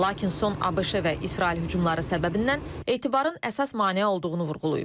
Lakin son ABŞ və İsrail hücumları səbəbindən etibarın əsas maneə olduğunu vurğulayıb.